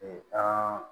an